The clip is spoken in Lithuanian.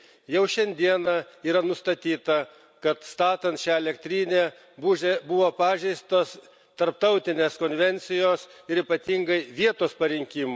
Jau šiandieną yra nustatyta, kad statant šią elektrinę buvo pažeistos tarptautinės konvencijos ir ypatingai vietos parinkimo.